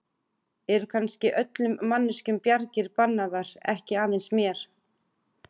Eru kannski öllum manneskjum bjargir bannaðar, ekki aðeins mér?